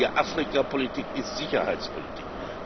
Eine anständige Afrikapolitik ist Sicherheitspolitik